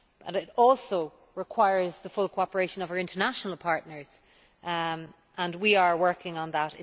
It also requires the full cooperation of our international partners, and we are working on that.